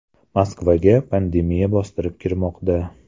Moskvaga pandemiya bostirib kirmoqda.